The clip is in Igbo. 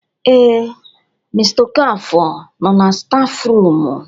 Ee, mr okafor no na stafụrumu.